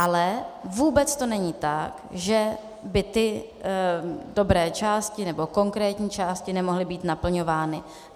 Ale vůbec to není tak, že by ty dobré části nebo konkrétní části nemohly být naplňovány.